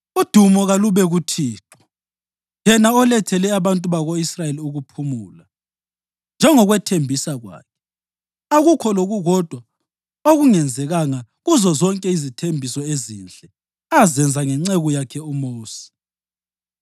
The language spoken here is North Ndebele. “Udumo kalube kuThixo, yena olethele abantu bako-Israyeli ukuphumula njengokwethembisa kwakhe. Akukho lokukodwa okungenzekanga kuzozonke izithembiso ezinhle azenza ngenceku yakhe uMosi.